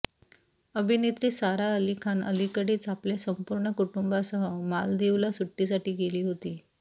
अभिनेत्री सारा अली खान अलीकडेच आपल्या संपूर्ण कुटुंबासह मालदीवला सुट्टीसाठी गेली होती